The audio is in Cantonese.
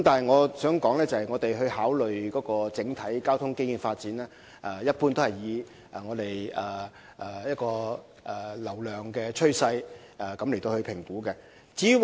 我想指出，局方考慮整體交通基建發展時，一般會根據流量趨勢進行評估。